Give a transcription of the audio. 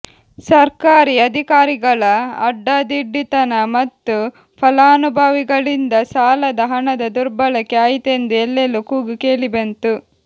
ಸರ್ಕಾರಿ ಅಧಿಕಾರಿಗಳ ಅಡ್ಡಾದಿಡ್ಡಿತನ ಮತ್ತು ಫಲಾನುಭವಿಗಳಿಂದ ಸಾಲದ ಹಣದ ದುರ್ಬಳಕೆ ಆಯಿತೆಂದು ಎಲ್ಲೆಲ್ಲೂ ಕೂಗು ಕೇಳಿಬಂತು